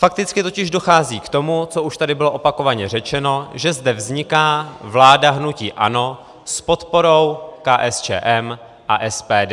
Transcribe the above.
Fakticky totiž dochází k tomu, co už tady bylo opakovaně řečeno, že zde vzniká vláda hnutí ANO s podporou KSČM a SPD.